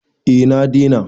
eh na dena